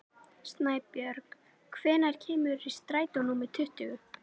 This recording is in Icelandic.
Snæbjörg, hvenær kemur strætó númer tuttugu?